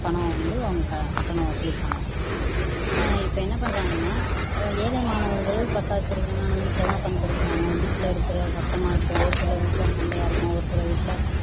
பணம் வந்து கட்டணம் வசூலிப்பாங்க அஹ் இப்போ என்ன பண்றாங்கன்னா ஏழை மாணவர்கள் பத்தாவது படிக்கிறாங்க ஆனா வீட்லதான உக்காந்து படிக்கிறாங்க வீட்ல இருக்கிற சத்தமா இருக்கட்டும் ஒருசில வீட்ல சண்டையா இருக்கும் ஒருசில வீட்ல